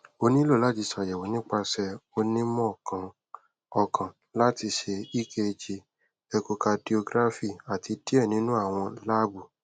o nilo lati ṣayẹwo nipasẹ onimọọkan ọkan lati ṣe ekg echocardiography ati diẹ ninu awọn laabu